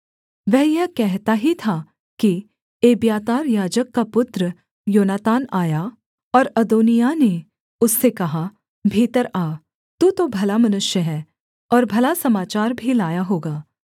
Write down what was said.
वह यह कहता ही था कि एब्यातार याजक का पुत्र योनातान आया और अदोनिय्याह ने उससे कहा भीतर आ तू तो भला मनुष्य है और भला समाचार भी लाया होगा